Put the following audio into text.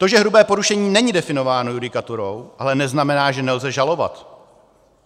To, že hrubé porušení není definováno judikaturou, ale neznamená, že nelze žalovat.